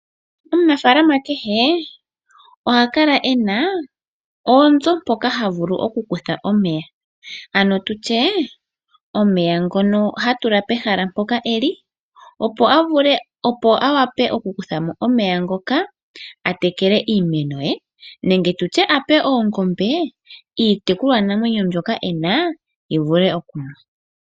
Omuna falama kehe oha kala ena oonzo mpoka ha vulu okukutha omeya ano tutye omeya ngono hatula pahala mpoka eli opo a vule opo awape okukuthamo omeya ngoka a tekele iimeno ye nenge tutye a penge Oongombe iitekulwa namwenyo mbyoka ena yi vule okunwa.